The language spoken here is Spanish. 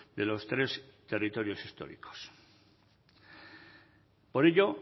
de los tres territorios históricos por ello